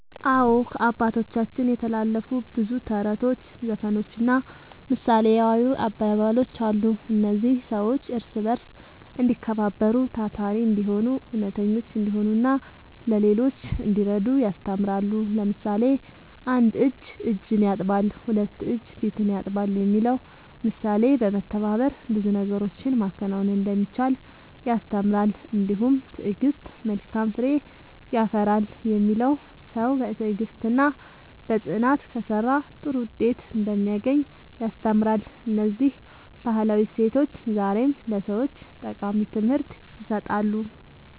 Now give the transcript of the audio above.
አዎ፣ ከአባቶቻችን የተላለፉ ብዙ ተረቶች፣ ዘፈኖችና ምሳሌያዊ አባባሎች አሉ። እነዚህ ሰዎች እርስ በርስ እንዲከባበሩ፣ ታታሪ እንዲሆኑ፣ እውነተኞች እንዲሆኑና ለሌሎች እንዲረዱ ያስተምራሉ። ለምሳሌ፣ ‘አንድ እጅ እጅን ያጥባል፣ ሁለት እጅ ፊትን ያጥባል’ የሚለው ምሳሌ በመተባበር ብዙ ነገሮችን ማከናወን እንደሚቻል ያስተምራል። እንዲሁም ‘ትዕግሥት መልካም ፍሬ ያፈራል’ የሚለው ሰው በትዕግሥትና በጽናት ከሠራ ጥሩ ውጤት እንደሚያገኝ ያስተምራል። እነዚህ ባህላዊ እሴቶች ዛሬም ለሰዎች ጠቃሚ ትምህርት ይሰጣሉ።"